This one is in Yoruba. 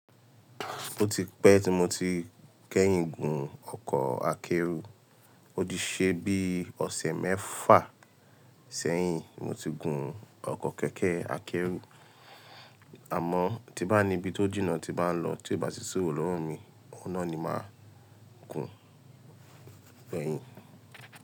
Mo ti pẹ́ tí mo ti kẹ́yìn gun ọkọ̀ akẹ́rù, ó di ṣe bí ọ̀sẹ̀ mẹ́fà sẹ́yìn mo ti gun ọkọ̀ kékè akẹ́rù. Àmọ́ tí bá ní ibi tó jìnà tí bá ń lọ tí ò bá sì sí òwùn lo wó mi, ọ̀nà ni máa kun pẹ̀yìn.